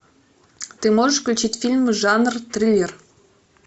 ты можешь включить фильм жанр триллер